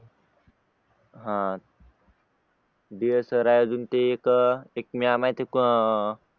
sir आहेत अजून ते एक म्याम